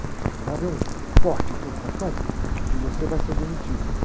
Vai haver um corte aqui, um facão e você vai ser demitido.